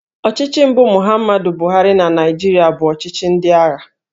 Ọchịchị mbụ Muhammadu Buhari na Naịjirịa bụ ọchịchị ndị agha